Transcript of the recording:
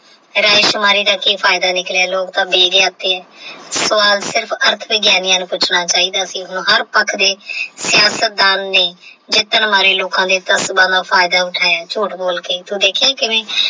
ਰਾਜਕੁਮਾਰੀ ਦਾ ਕਿ ਫਾਇਦਾ ਨਿਕਲਿਆ ਲੋਕ ਤਾ ਨੇ ਸਵਾਲ ਸਿਰਫ ਨੂੰ ਪੁੱਛਣਾ ਚਾਹੀਦਾ ਸੀ ਹੁਣ ਹਰ ਪੱਖ ਦੇ ਦੇ ਜਿੱਤਣ ਵਾਲੇ ਲੋਕ ਦੇ ਫਾਇਦਾ ਉੱਠਿਆ ਤੋਂ ਦੇਖਿਆ ਕਿਵੇਂ।